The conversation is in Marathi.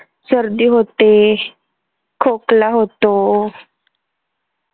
सर्दी होते, खोकला होतो